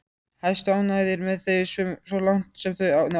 Hæstánægðir með þau svo langt sem þau náðu.